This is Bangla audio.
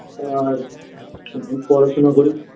তোমার পড়াশোনা করি